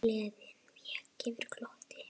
Gleðin vék fyrir glotti.